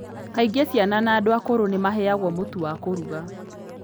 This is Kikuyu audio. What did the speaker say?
Kaingĩ ciana na andũ akũrũ nĩ maheagwo mũtu wa kũruga.